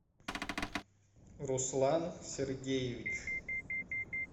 руслан сергеевич